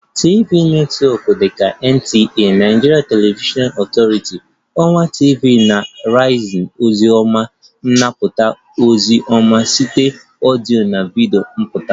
Television netwọk dị ka NTA (Nigerian Television Authority), ọwa TV na Arise ozi ọma anapụta ozi ọma site ọdịyo na video pụtara